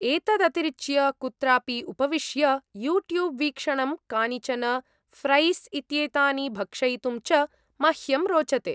एतदतिरिच्य, कुत्रापि उपविश्य, यूट्यूब् वीक्षणं, कानिचन फ्रैस् इत्येतानि भक्षयितुं च मह्यं रोचते।